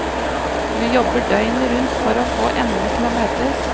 Du jobber døgnet rundt for å få endene til å møtes.